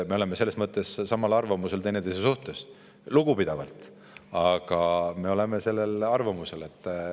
Me oleme selles mõttes samal arvamusel teineteise suhtes – lugupidavalt, aga me oleme sellisel arvamusel.